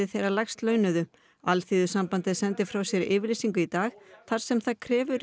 þeirra lægst launuðu Alþýðusambandið sendi frá sér yfirlýsingu í dag þar sem það krefur